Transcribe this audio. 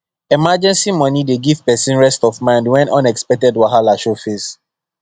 emergency money dey give person rest of mind when unexpected wahala show face